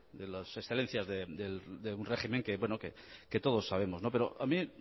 de las excelencias de un régimen que todos sabemos a mí